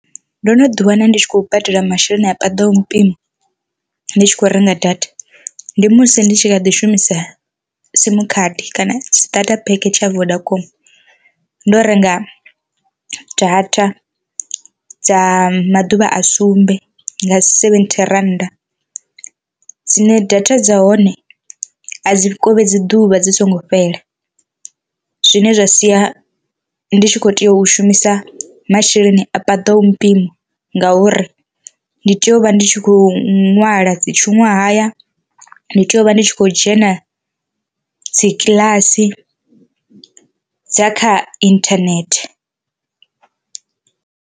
Ndo no ḓi wana ndi tshi khou badela masheleni a paḓaho mpimo ndi tshi khou renga data. Ndi musi ndi tshi kha ḓi shumisa simu khadi kana starter park tsha vodacom, ndo renga data dza maḓuvha a sumbe nga seventhi rannda dzine data dza hone a dzi khovhedzi ḓuvha dzi songo fhela, zwine zwa sia ndi tshi kho tea u shumisa masheleni a paḓaho mpimo ngauri ndi tea u vha ndi tshi khou nwala dzi tshuṅwahaya, ndi tea u vha ndi tshi khou dzhena dzi kiḽasi dza kha inthanethe.